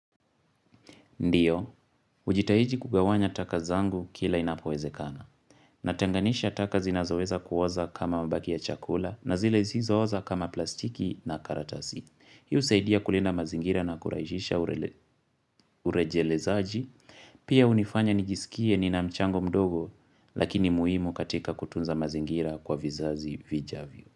Ndiyo, ujitahiji kugawanya taka zangu kila inapoweze kana. Natenganisha taka zinazoweza kuoza kama mbagi ya chakula na zile zisizooza kama plastiki na karatasi. Hi husaidia kulinda mazingira na kurahisisha urejelezaaji. Pia hunifanya nijisikie ni namchango mdogo lakini muhimu katika kutunza mazingira kwa vizazi vijavyo.